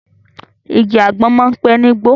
Igi àgbọ̀n máa ń pẹ̀ nígbó